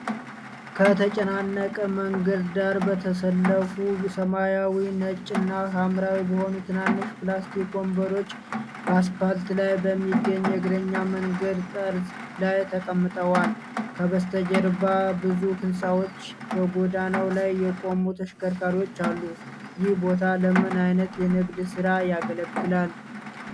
ከተጨናነቀ መንገድ ዳር፣ በተሰለፉ ሰማያዊ፣ ነጭ እና ሐምራዊ በሆኑ ትናንሽ ፕላስቲክ ወንበሮች በአስፓልት ላይ በሚገኝ የእግረኛ መንገድ ጠርዝ ላይ ተቀምጠዋል፣ ከበስተጀርባ ብዙ ህንፃዎችና በጎዳናው ላይ የቆሙ ተሽከርካሪዎች አሉ፣ ይህ ቦታ ለምን ዓይነት የንግድ ሥራ ያገለግላል?